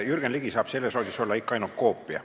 Jürgen Ligi saab selles rollis olla ikka ainult koopia.